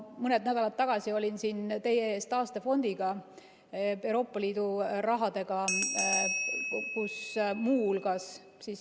Mõni nädal tagasi olin siin teie ees taastefondiga, Euroopa Liidu rahaga.